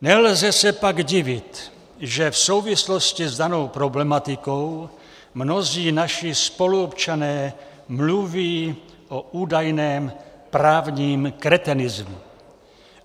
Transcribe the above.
Nelze se pak divit, že v souvislosti s danou problematikou mnozí naši spoluobčané mluví o údajném právním kretenismu.